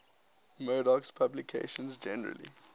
murdoch's publications generally